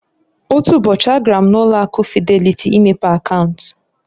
Otu ụbọchị a gara m na ụlo akụ Fideliti imepe akaunt.